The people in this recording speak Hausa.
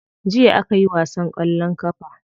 Jiya akayi wasan kwallon kafa.